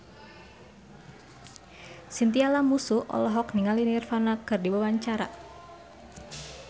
Chintya Lamusu olohok ningali Nirvana keur diwawancara